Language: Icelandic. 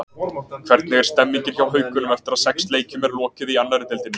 Hvernig er stemmingin hjá Haukunum eftir að sex leikjum er lokið í annarri deildinni?